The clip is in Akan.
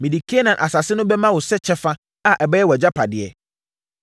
“Mede Kanaan asase no bɛma wo sɛ kyɛfa a ɛbɛyɛ wʼagyapadeɛ.”